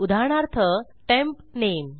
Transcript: उदाहरणार्थ टेम्प नामे